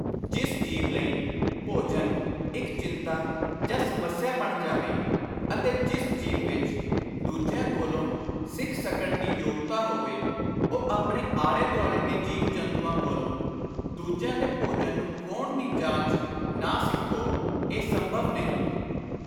ਜਿਸ ਜੀਵ ਲਈ ਭੋਜਨ ਇਕ ਚਿੰਤਾ ਜਾਂ ਸਮੱਸਿਆ ਬਣ ਜਾਵੇ ਅਤੇ ਜਿਸ ਜੀਵ ਵਿਚ ਦੂਜਿਆਂ ਕੋਲੋਂ ਸਿੱਖ ਸਕਣ ਦੀ ਯੋਗਤਾ ਹੋਵੇ, ਉਹ ਆਪਣੇ ਆਲੇ-ਦੁਆਲੇ ਦੇ ਜੀਵ-ਜੰਤੂਆਂ ਕੋਲੋਂ ਦੂਜਿਆਂ ਦੇ ਭੋਜਨ ਨੂੰ ਖੋਹਣ ਦੀ ਜਾਚ ਨਾ ਸਿੱਖੋ, ਇਹ ਸੰਭਵ ਨਹੀਂ।